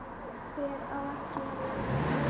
Hver á ekki að vera þarna?